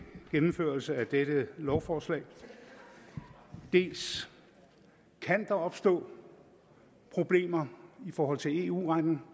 gennemførelse af dette lovforslag dels kan der opstå problemer i forhold til eu retten